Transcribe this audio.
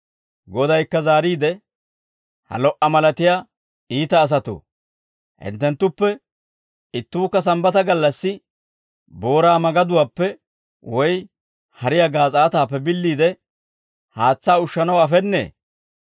Godaykka zaariide, «Ha lo"a malatiyaa iita asatoo, hinttenttuppe ittuukka Sambbata gallassi booraa magaduwaappe woy hariyaa gaas'aataappe billiide haatsaa ushshanaw afennee?